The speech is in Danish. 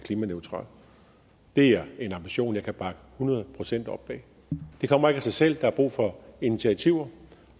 klimaneutral det er en ambition jeg kan bakke hundrede procent op bag det kommer ikke af sig selv der er brug for initiativer